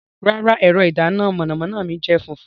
Rara, ẹrọ idana mọnamọna mi jẹ funfun